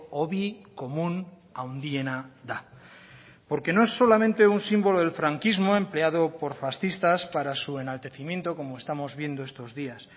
hobi komun handiena da porque no es solamente un símbolo del franquismo empleado por fascistas para su enaltecimiento como estamos viendo estos días